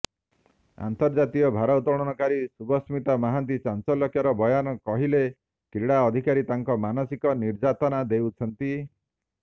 ଅନ୍ତର୍ଜାତୀୟ ଭାରୋତ୍ତୋଳନକାରୀ ଶୁଭସ୍ମିତା ମହାନ୍ତିଙ୍କ ଚାଞ୍ଚଲ୍ୟକର ବୟାନ କହିଲେ କ୍ରୀଡା ଅଧିକାରୀ ତାଙ୍କୁ ମାନସିକ ନିର୍ଯାତନା ଦେଉଛନ୍ତି